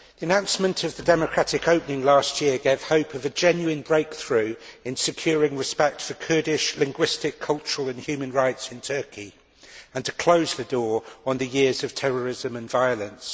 Madam President, the announcement of the democratic opening last year gave hope of a genuine breakthrough in securing respect for Kurdish linguistic, cultural and human rights in Turkey and closing the door on the years of terrorism and violence.